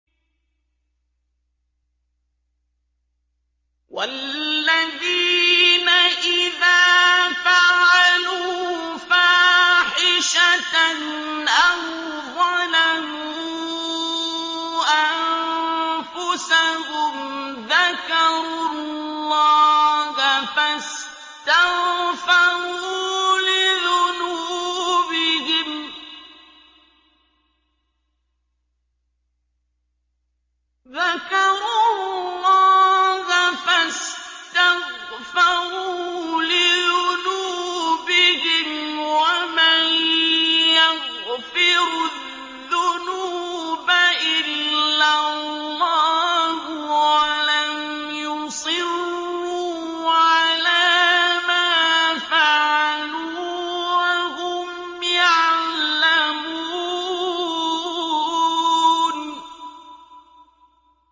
وَالَّذِينَ إِذَا فَعَلُوا فَاحِشَةً أَوْ ظَلَمُوا أَنفُسَهُمْ ذَكَرُوا اللَّهَ فَاسْتَغْفَرُوا لِذُنُوبِهِمْ وَمَن يَغْفِرُ الذُّنُوبَ إِلَّا اللَّهُ وَلَمْ يُصِرُّوا عَلَىٰ مَا فَعَلُوا وَهُمْ يَعْلَمُونَ